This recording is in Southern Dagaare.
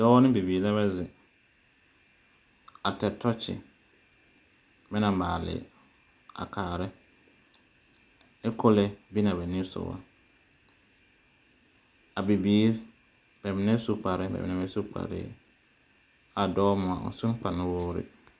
Dɔɔ ne bibiir lɛbɛ zeŋ, a ter tɔɔkye bɛ na maale a kaarɛ. Ɛ pɔlɛ be naa bɛ niŋe sɔgɔ.A bibiir, bɛ mine su ne kparre bɛ mine bɛ su kparreɛ. A dɔɔ moŋa o sun kpa nu woore.